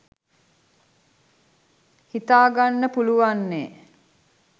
හිතාගන්න පුලුවන්නෙ